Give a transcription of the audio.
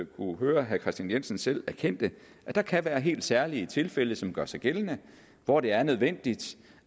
kunne høre at herre kristian jensen selv erkendte at der kan være helt særlige tilfælde som gør sig gældende og hvor det er nødvendigt